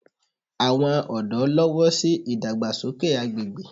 Àwọn ọ̀dọ́ lọ́wọ́ sí ìdàgbàsókè agbègbè